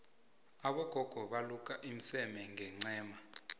abogogo baluka umseme ngencema